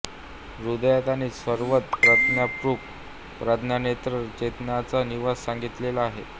हृदयात आणि सर्वत्र प्रज्ञारूप प्रज्ञानेत्र चेतनाचा निवास सांगितलेला आहे